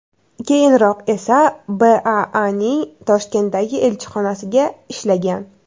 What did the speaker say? Keyinroq esa BAAning Toshkentdagi elchixonasiga ishlagan.